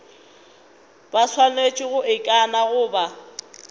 ba swanetše go ikana goba